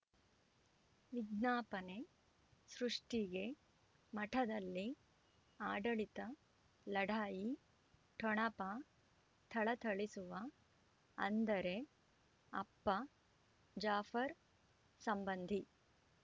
ವಿಜ್ಞಾಪನೆ ಸೃಷ್ಟಿಗೆ ಮಠದಲ್ಲಿ ಆಡಳಿತ ಲಢಾಯಿ ಠೊಣಪ ಥಳಥಳಿಸುವ ಅಂದರೆ ಅಪ್ಪ ಜಾಫರ್ ಸಂಬಂಧಿ